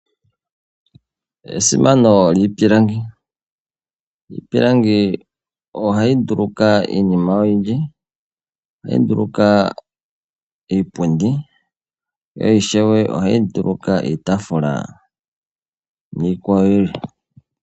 Esimano lyiipilangi, iipilangi ohayi nduluka iinima oyindji. Ohayi nduluka iipundi, yo ishewe ohayi nduluka iitafula niikwawo yilwe.